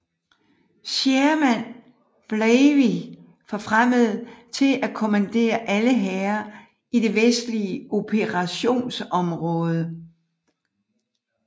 Sherman var blevey forfremmet til at kommandere alle hære i det vestlige operationsområde